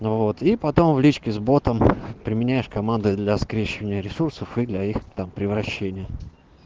ну вот и потом в личке с ботом применяешь команды для скрещивания ресурсов и для их там превращения